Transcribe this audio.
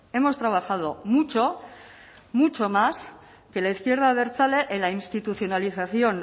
hemos trabajado mucho mucho más que la izquierda abertzale en la institucionalización